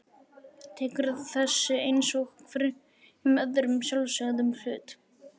Tekur þessu einsog hverjum öðrum sjálfsögðum hlut.